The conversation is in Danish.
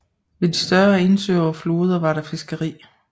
Ved de større indsøer og floderne var der fiskeri